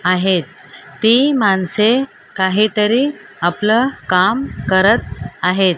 आहेत ती माणसे काहीतरी आपलं काम करत आहेत.